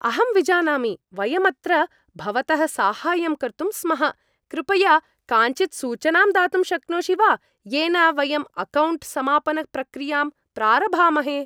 अहं विजानामि, वयं अत्र भवतः साहाय्यं कर्तुं स्मः, कृपया काञ्चित् सूचनां दातुं शक्नोषि वा येन वयं अकौण्ट् समापनप्रक्रियां प्रारभामहे।